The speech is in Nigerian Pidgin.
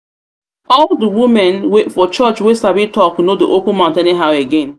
all the women for church wey sabi talk no dey open mouth anyhow again